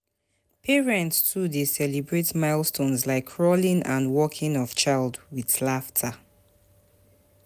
Di early development stage of child dey full full of wonder for every parent.